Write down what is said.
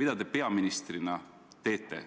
Mida te peaministrina teete,